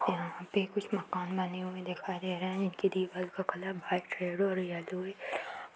यहाँ पे कुछ मकान बनी हुई दिखाई दे रही है इनकी दीवाल का कलर व्हाइट रेड और येलो है।